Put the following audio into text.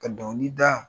Ka dɔnkili da